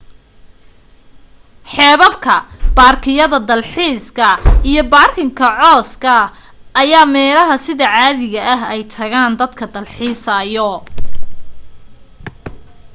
xeebabka baarkiyada dal xiiska iyo baarkiga cooska ayaa meelaha sida caadiga ah ay tagaan dadka dalxiisayo